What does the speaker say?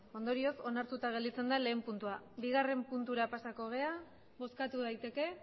ondorioz onartuta gelditzen da lehen puntua bigarren puntura pasatu gara bozkatu daiteke